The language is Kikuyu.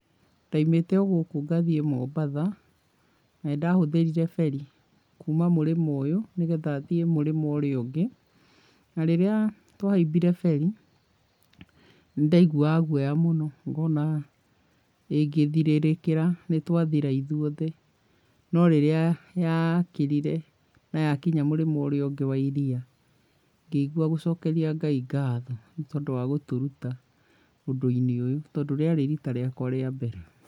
Ndaimĩte ogũkũ ngathiĩ Mombatha na nĩ ndahũthĩrire ferry kuuma mũrĩmo ũyũ nĩgetha thiĩ mũrĩmo ũrĩa ũngĩ, na rĩrĩa twahaimbire ferry, nĩ ndaiguaga guoya mũno ngona ingĩthirĩrĩkĩra nĩ twathira ithuothe, no rĩrĩa yakĩrire, na yakinya mũrĩmo ũrĩa ũngĩ wa iria ngĩigua gũcokeria Ngai ngatho nĩ tondũ wa gũtũruta ũndũ-inĩ ũyũ tondũ rĩarĩ rita rĩakwa rĩa mbere.